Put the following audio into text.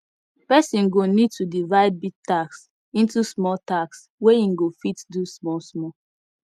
person go need to divide big tasks into small tasks wey im go fit do small small